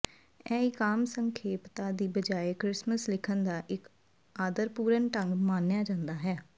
ਇਹ ਇੱਕ ਆਮ ਸੰਖੇਪਤਾ ਦੀ ਬਜਾਏ ਕ੍ਰਿਸਮਸ ਲਿਖਣ ਦਾ ਇੱਕ ਆਦਰਪੂਰਨ ਢੰਗ ਮੰਨਿਆ ਜਾਂਦਾ ਹੈ